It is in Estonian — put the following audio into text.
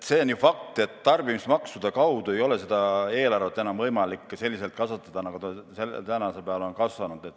On ju fakt, et tarbimismaksude abil ei ole meie eelarvet enam võimalik selliselt kasvatada, nagu see seni on kasvanud.